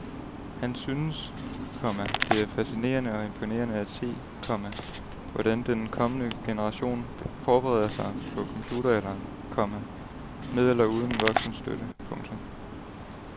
Han syntes, komma det er fascinerende og imponerende at se, komma hvordan den kommende generation forbereder sig på computeralderen, komma med eller uden voksen støtte. punktum